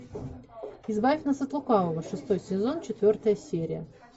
избавь нас от лукавого шестой сезон четвертая серия